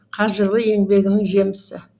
қажырлы еңбегінің жемісі